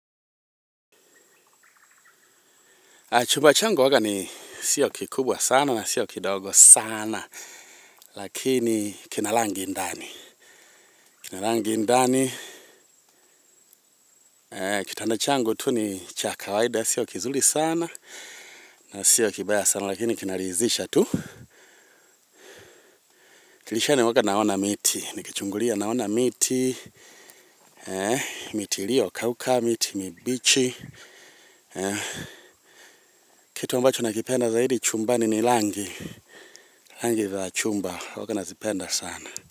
Chuba changu huwaga ni sio kikubwa sana na sio kidogo sana. Lakini kina langi ndani. Kina langi ndani. Kitanda changu tu ni cha kawaida. Sio kizuli sana na sio kibaya sana. Lakini kinarizisha tu. Dilishani huwaga naona miti. Nikichungulia naona miti. Miti irio kauka. Miti mibichi. Kitu ambacho nakipenda zaidi chumbani ni langi. Langi za chumba huwaga nazipenda sana.